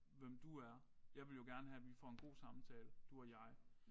Hvem du er jeg vil jo gerne have vi får en god samtale du og jeg